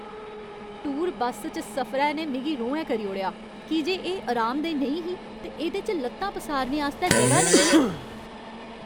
Tour bus च सफरै ने मिगी रोहैं करी ओड़ेआ की जे एह् अरामदेह् नेईं ही ते एह्दे च ल'त्तां पसारने आस्तै जगह नेईं ही।